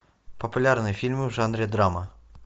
популярные фильмы в жанре драма